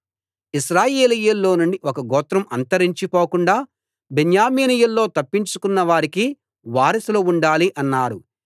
ఇశ్రాయేలీయుల్లోనుండి ఒక గోత్రం అంతరించి పోకుండా బెన్యామీనీయుల్లో తప్పించుకున్న వారికి వారసులు ఉండాలి అన్నారు